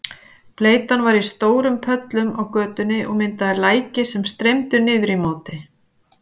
Bleytan var í stórum pollum á götunni og myndaði læki sem streymdu niður í móti.